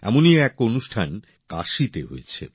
এমনই এক অনুষ্ঠান কাশীতে হয়েছে